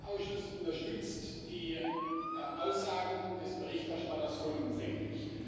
Der Haushaltsausschuss unterstützt die Aussagen des Berichterstatters vollumfänglich.